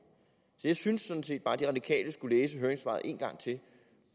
jeg synes sådan set bare at de radikale skulle læse høringssvaret en gang til